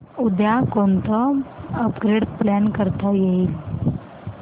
उद्या कोणतं upgrade plan करता येईल